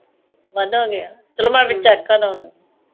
ਵੱਧ ਹੋਗਿਆ ਚਲੋ ਮੈਂ ਚੈੱਕ ਕਰਲਾਗੀ